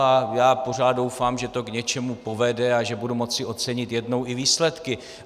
A já pořád doufám, že to k něčemu povede a že budu moci ocenit jednou i výsledky.